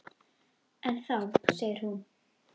En þá segir hún